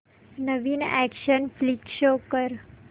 नवीन action flick show कर